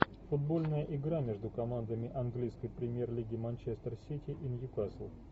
футбольная игра между командами английской премьер лиги манчестер сити и ньюкасл